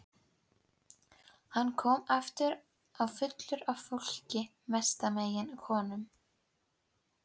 Hann kom aftur fullur af fólki, mestmegnis konum.